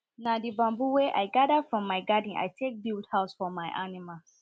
na the bamboo wen i gather from my garden i take build house for my animals